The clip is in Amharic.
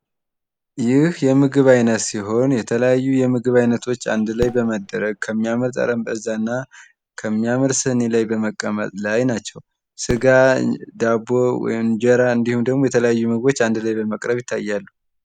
ይህ የምግብ አይነት ሲሆን የተለያዩ የምግብ አይነቶች አንድ ላይ በመደረግ ከሚያምር ጠረጴዛ እና ከሚያምር ስኒ ላይ በመቀመጥ ላይ ናቸው። ስጋ ዳቦ እንጀራ እንድሁም ደግሞ የተለያዩ ምግቦች አንድላይ በመቅረብ ይታያሉ።